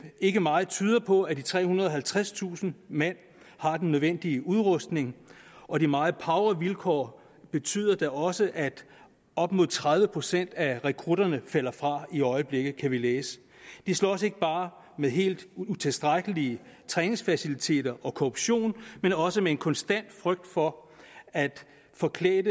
ikke meget tyder på at de trehundrede og halvtredstusind mand har den nødvendige udrustning og de meget pauvre vilkår betyder da også at op mod tredive procent af rekrutterne falder fra i øjeblikket kan vi læse de slås ikke bare med helt utilstrækkelige træningsfaciliteter og korruption men også med en konstant frygt for at en forklædt